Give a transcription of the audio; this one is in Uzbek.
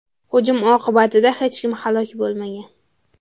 Hujum oqibatida hech kim halok bo‘lmagan.